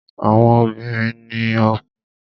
Àwọn obìnrin ní òkun.